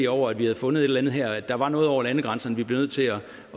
over at vi havde fundet et eller andet her at der var noget over landegrænserne vi blev nødt til at